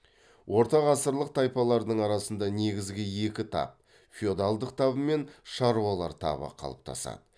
ортағасырлық тайпалардың арасында негізгі екі тап феодалдық табы мен шаруалар табы қалыптасады